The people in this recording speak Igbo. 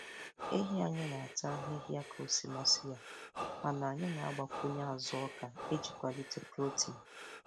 Ehi anyị na-ata ahịhịa ka o si masị ya mana anyị na-agbakwunye azụ oka iji kwalite protein.